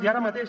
i ara mateix